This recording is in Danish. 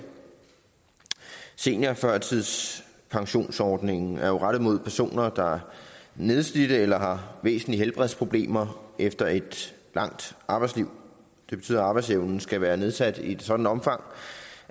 seniorførtidspensionsordningen er jo rettet mod personer der er nedslidte eller har væsentlige helbredsproblemer efter et langt arbejdsliv det betyder at arbejdsevnen skal være nedsat i et sådant omfang